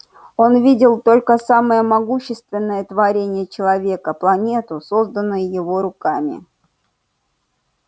он видел только самое могущественное творение человека планету созданную его руками